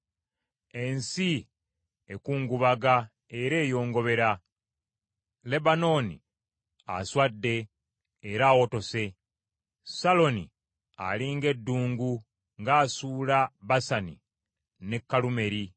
Ensi ekungubaga era eyongobera, Lebanooni aswadde era awotose; Saloni ali ng’eddungu, ng’asuula Basani ne Kalumeeri.